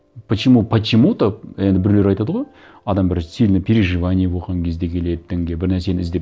почему почему то енді біреулер айтады ғой адам бір сильное переживание болған кезде келеді дінге бір нәрсені іздеп